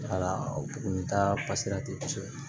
Wala o buguni taa pasera ten kosɛbɛ